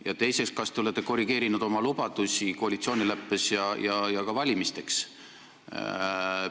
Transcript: Ja teiseks, kas te olete korrigeerinud oma lubadusi koalitsioonileppes ja ka valimisteks?